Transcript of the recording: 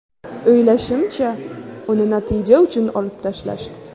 O‘ylashimcha, uni natija uchun olib tashlashdi.